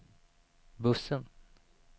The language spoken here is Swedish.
bussen